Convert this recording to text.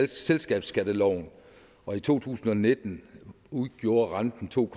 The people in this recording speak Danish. selskabsskatteloven og i to tusind og nitten udgjorde renten to